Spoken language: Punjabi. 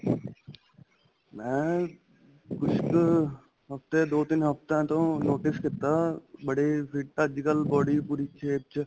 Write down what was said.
ਮੈਂ ਕੁੱਝ ਕ ਹਫ਼ਤੇ ਦੋ ਤਿੰਨ ਹਫ਼ਤਿਆਂ ਤੋਂ notice ਕੀਤਾ ਬੜੇ fit ਅੱਜ ਕੱਲ body ਪੂਰੀ ਸਿਹਤ ਚ